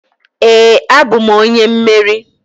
Ee, abụm onye mmeri.